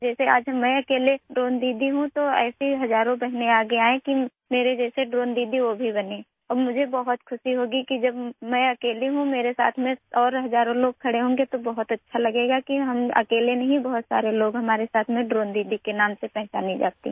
जैसे आज मैं अकेले ड्रोन दीदी हूँ तो ऐसी ही हजारों बहनें आगे आएं कि मेरे जैसे ड्रोन दीदी वो भी बने और मुझे बहुत खुशी होगी कि जब मैं अकेली हूँ मेरे साथ में और हजारों लोग खड़े होंगे तो बहुत अच्छा लगेगा कि हम अकेले नहीं बहुत सारे लोग हमारे साथ में ड्रोन दीदी के नाम से पहचानी जाती हैं